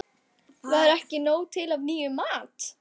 Var ekki nóg til af nýjum mat?